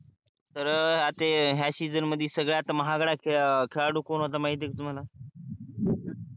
तर आता हया season मध्ये संगडात महागाडा खेडाडू कोण होता माहिती आहे का तुम्हाला?